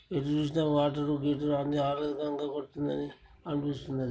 ఎటు చూసినా వాటర్ గిటరు ల అన్ని యావరేజ్ గా కొడుతున్నది అనిపిస్తున్నది.